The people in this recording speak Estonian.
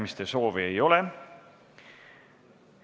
Kõnesoove ei ole.